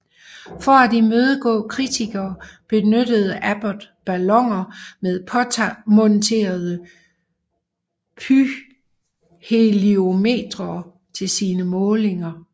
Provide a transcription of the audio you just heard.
For at imødegå kritikere benyttede Abbot balloner med påmonterede pyrheliometere til sine målinger